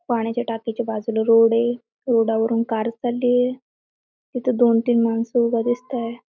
पाण्याच्या टाकीचा बाजूला रोड ये रोडा वरून कार चाललीये तिथं दोन-तीन माणसं उभ दिसताय.